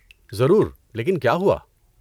ضرور، لیکن کیا ہوا؟